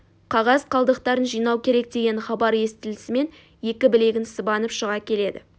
қағаз қалдықтарын жинау керек деген хабар естілісімен екі білегін сыбанып шыға келеді